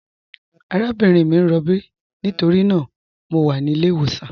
Àràbìnrin mi n rọ̀bí nítorína mọ̀ wà ní ilẹ̀-ìwọsàn.